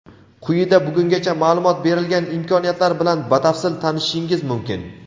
Quyida bugungacha ma’lumot berilgan imkoniyatlar bilan batafsil tanishishingiz mumkin.